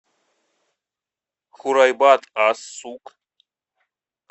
хурайбат ас сук